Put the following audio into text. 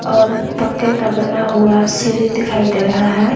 और पक्के का बना हुआ है सीढ़ी दिखाई दे रहा है।